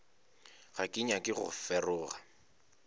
ga ke nyake go feroga